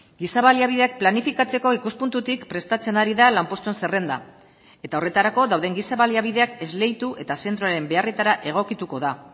giza baliabideak planifikatzeko ikuspuntutik prestatzen ari da lanpostuen zerrenda eta horretarako dauden giza baliabideak esleitu eta zentroren beharretara egokituko da